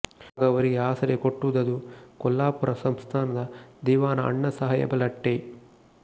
ಆಗ ಅವರಿಗೆ ಆಸರೆ ಕೊಟ್ಟುದದು ಕೊಲ್ಲಾಪುರ ಸಂಸ್ಥಾನದ ದಿವಾನ ಅಣ್ಣಾಸಾಹೇಬ ಲಠ್ಠೆ